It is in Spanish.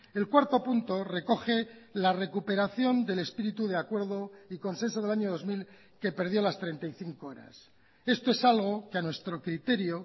el cuarto punto recoge la recuperación del espíritu de acuerdo y consenso del año dos mil que perdió las treinta y cinco horas esto es algo que a nuestro criterio